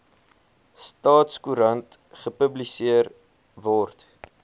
staatskoerant gepubliseer word